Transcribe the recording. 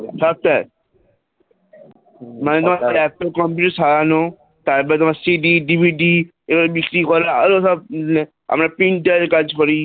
Software মানে হচ্ছে code দিয়ে সরানো তারপরে তোমার CD DVD এগুলো করালে ধর আরো আমরা printer এর কাজ করি